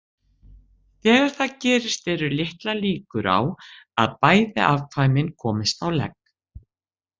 Þegar það gerist eru litlar líkur á að bæði afkvæmin komist á legg.